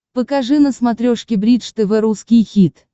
покажи на смотрешке бридж тв русский хит